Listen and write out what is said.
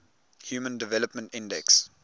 human development index